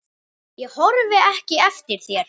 Ég horfi ekki eftir þér.